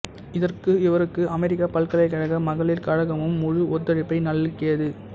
இதற்கு இவருக்கு அமெரிக்கப் பல்கலைக்கழக மகளிர் கழகமும் முழு ஒத்துழைப்பை நல்கியது